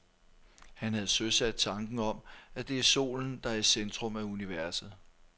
Han havde søsat tanken om, at det er solen, der er i centrum af universet.